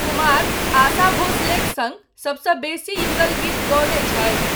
कुमार आशा भोंसलेक सङ्ग सबसँ बेसी युगल गीत गओने छथि।